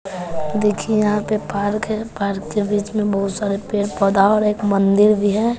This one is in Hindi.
देखिए यहां पे पार्क है पार्क के बीच में बहुत सारे पेड़ पौधा और एक मंदिर भी है।